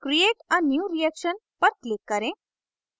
create a new reaction पर click करें